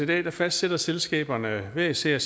dag fastsætter selskaberne hver især